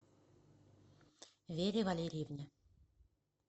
вере валерьевне